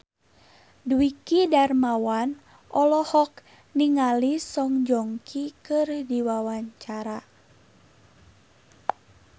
Dwiki Darmawan olohok ningali Song Joong Ki keur diwawancara